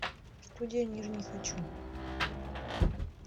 студия нижний хочу